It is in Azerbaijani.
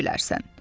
Özün bilərsən.